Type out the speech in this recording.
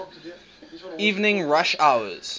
evening rush hours